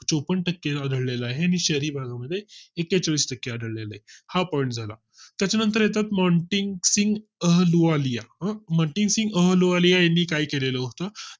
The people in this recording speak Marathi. चोपन्न टक्के आढळेल आहे आणि शहरी भागा मध्ये एकेचाळीस टक्के आढळले हा Point झाला. त्यानंतर येतात मॉन्टे सिंग अहलुवालिया हा मोन्टीन्ग सिंग अहलुवालिया यांनी काय केलेलं होत